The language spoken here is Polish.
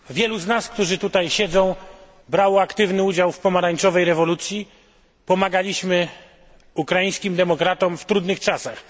Wielu z nas tutaj obecnych brało aktywny udział w pomarańczowej rewolucji, pomagaliśmy ukraińskim demokratom w trudnych czasach.